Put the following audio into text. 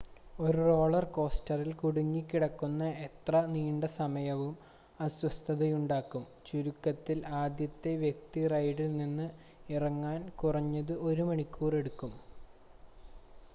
ഒരു റോളർ കോസ്റ്ററിൽ കുടുങ്ങിക്കിടക്കുന്ന എത്ര നീണ്ട സമയവും അസ്വസ്ഥതയുണ്ടാക്കും ചുരുക്കത്തിൽ ആദ്യത്തെ വ്യക്തി റൈഡിൽ നിന്ന് ഇറങ്ങാൻ കുറഞ്ഞത് ഒരു മണിക്കൂർ എടുക്കും